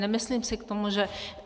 Nemyslím si k tomu, že...